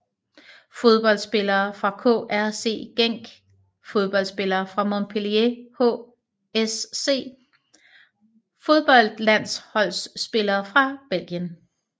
Fodboldspillere fra KRC Genk Fodboldspillere fra Montpellier HSC Fodboldlandsholdsspillere fra Belgien